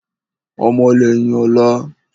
Ọmọ lẹ́yìn ọ̀la